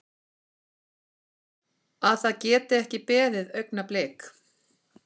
Að það geti ekki beðið augnablik.